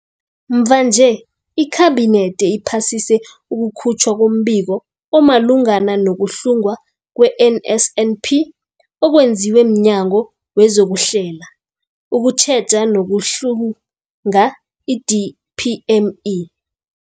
Mvanje, iKhabinethi iphasise ukukhutjhwa kombiko omalungana nokuhlungwa kwe-NSNP okwenziwe mNyango wezokuHlela, ukuTjheja nokuHlunga, i-DPME.